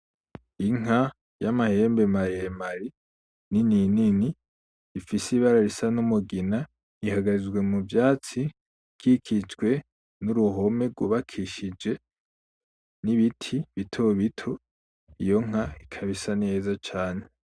Inka y'amahembe maremare nini nini, ifise ibara risa n'umugina , ahagaze mu vyatsi bikikijwe n'uruhome twubakishije n'ibiti bitobito, iyo nka ikaba isa neza cane .